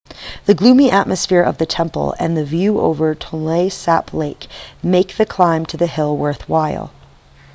the gloomy atmosphere of the temple and the view over the tonle sap lake make the climb to the hill worthwhile